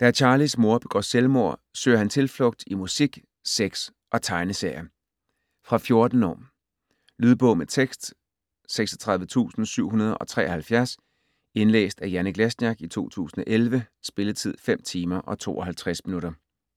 Da Charlis mor begår selvmord søger han tilflugt i musik, sex og tegneserier. Fra 14 år. Lydbog med tekst 36773 Indlæst af Janek Lesniak, 2011. Spilletid: 5 timer, 52 minutter.